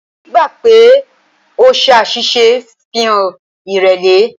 Gbígbà pè o ṣàṣìṣe ń ṣàfihàn ìrẹ̀lẹ̀.